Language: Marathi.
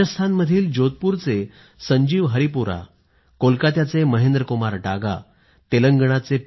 राजस्थानमधील जोधपुरचे संजीव हरिपुरा कोलकात्याचे महेंद्रकुमार डागा तेलंगणाचे पी